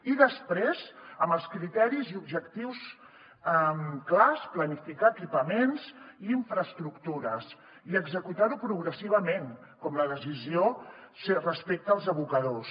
i després amb els criteris i objectius clars planificar equipaments i infraestructures i executar ho progressivament com la decisió respecte als abocadors